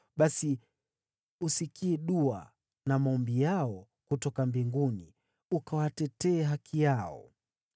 basi usikie dua na maombi yao kutoka mbinguni, ukawatetee haki yao.